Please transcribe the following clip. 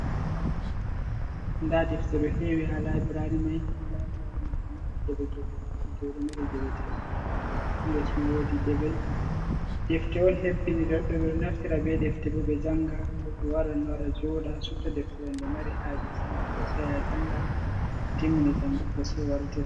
Labrari nda defte ɗo hewi ha labrari may labrari may ɗomari geɓe geɓe hedi ɗo ɗo mari geɗe tati hiles ma wodi geɓe defte on hebbini jedoɓe naftira be defte bo ɓe janga goɗɗo waran nora joda subta deftere nde mari haje sai hosa ya janga totinmini jangugo sai wartai